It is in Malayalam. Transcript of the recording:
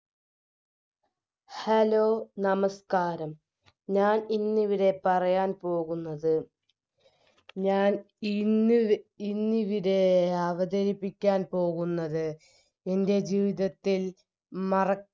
hello നമസ്ക്കാരം ഞാൻ ഇന്നിവിടെ പറയാൻ പോകുന്നത് ഞാൻ ഇന്നിവി ഇന്നിവിടെ അവതരിപ്പിക്കാൻ പോകുന്നത് എൻറെ ജീവിതത്തിൽ മറ